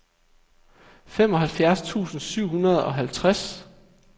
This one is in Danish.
femoghalvfjerds tusind syv hundrede og halvtreds